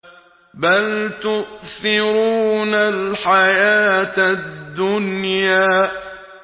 بَلْ تُؤْثِرُونَ الْحَيَاةَ الدُّنْيَا